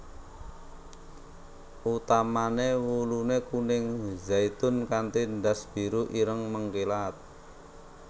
Utamané wuluné kuning zaitun kanti ndas biru ireng mengkilap